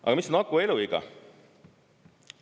Aga mis on aku eluiga?